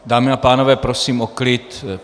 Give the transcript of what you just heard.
Dámy a pánové, prosím o klid!